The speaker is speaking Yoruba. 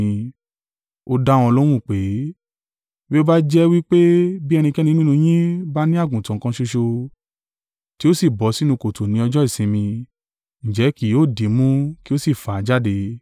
Ó dá wọn lóhùn pé, “Bí ó bá jẹ́ wí pé bí ẹnikẹ́ni nínú yín bá ní àgùntàn kan ṣoṣo, tí ó sì bọ́ sínú kòtò ní ọjọ́ ìsinmi, ǹjẹ́ kì yóò dìímú, kí ó sì fà á jáde.